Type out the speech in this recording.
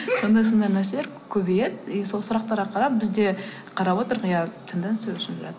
сондай сондай нәрселер көбейеді и сол сұрақтарға қарап біз де қарап отырмық иә тенденция өсіп жатыр